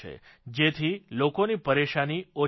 જેથી લોકોની પરેશાની ઓછી થાય